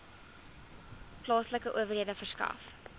plaaslike owerhede verskaf